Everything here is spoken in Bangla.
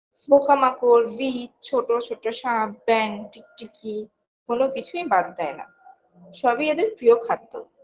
পোকামাকড় বীচ ছোটো ছোটো সাপ ব্যাঙ টিকিটিকি কোনো কিছুই বাদ দেয় না সবই এদের প্রিয় খাদ্য